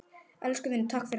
Elsku vinur, takk fyrir allt.